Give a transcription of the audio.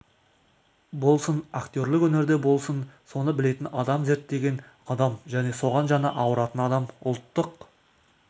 болсын актерлік өнерде болсын соны білетін адам зерттеген адам және соған жаны ауыратын адам ұлттық